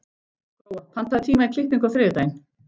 Gróa, pantaðu tíma í klippingu á þriðjudaginn.